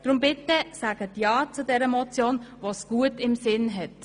Deshalb sagen Sie bitte ja zu dieser Motion, die es gut im Sinn hat.